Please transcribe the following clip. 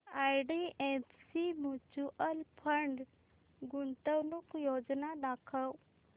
IDFC mutual fund गुंतवणूक योजना दाखव